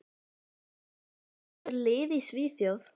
Slík líkön geta sagt til um þrýsting, hita og efnainnihald.